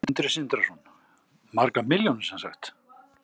Sindri Sindrason: Margar milljónir sem sagt?